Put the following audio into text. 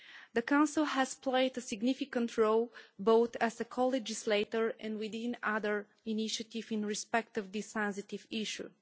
The Council has played a significant role both as a co legislator and within other initiatives in respect of this sensitive issue.